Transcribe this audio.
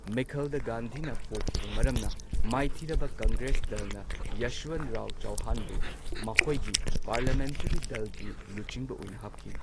ꯃꯤꯈꯜꯗ ꯒꯥꯟꯙꯤꯅ ꯄꯣꯈꯤꯕ ꯃꯔꯝꯅ ꯃꯥꯏꯊꯤꯔꯕ ꯀꯪꯒ꯭ꯔꯦꯁ ꯗꯜꯅ ꯌꯥꯁꯋꯟꯔꯥꯎ ꯆꯥꯎꯍꯥꯟꯕꯨ ꯃꯈꯣꯢꯒꯤ ꯄꯥꯔꯂꯤꯌꯥꯃꯦꯟꯇꯔꯤ ꯗꯜꯒꯤ ꯂꯨꯆꯤꯡꯕ ꯑꯣꯏꯅ ꯍꯥꯞꯈꯤ꯫